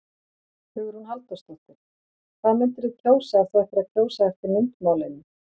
Hugrún Halldórsdóttir: Hvað myndirðu kjósa ef þú ættir að kjósa eftir myndmálinu?